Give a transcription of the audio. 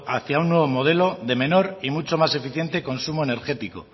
hacia un nuevo modelo de menor y mucho más eficiente consumo energético